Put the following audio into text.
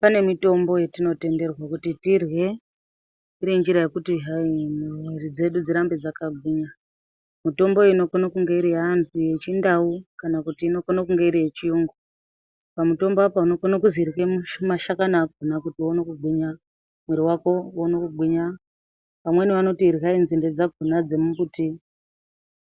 Pane mitombo yetinotenderwa kuti tirye ngenjira yekuti hayi mwiiri dzedu dzirambe dzakagwinya. Mutombo iyi inokone kunge iri yeantu yechindau kana kuti inokone kunge iri yechiyungu. Pamutombo apa unokone kuzi irye mashakani akona kuti uone kugwinya, mwiiri wako uone kugwinya. Vamweni vanoti iryai nzinde dzakona dzemumbuti